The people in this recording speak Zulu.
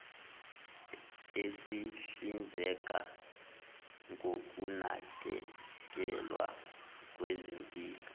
esihlinzeka ngokunakekelwa kwezempilo